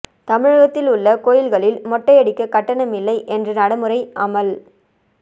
தமிழகத்தில் உள்ள கோயில்களில் மொட்டை அடிக்க கட்டணம் இல்லை என்ற நடைமுறை அமல்